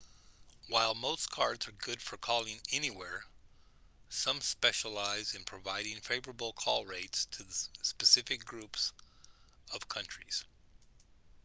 while most cards are good for calling anywhere some specialise in providing favourable call rates to specific groups of countries